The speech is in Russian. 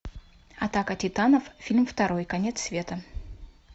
атака титанов фильм второй конец света